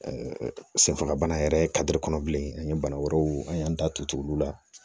senfagabana yɛrɛ ye kɔnɔ bilen an ye bana wɛrɛw an y'an da tutukulu la